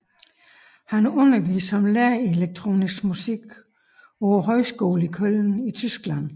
Han underviste som lærer i elektronisk musik på Musikhøjskolen i Köln i Tyskland